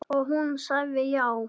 Og hún sagði já.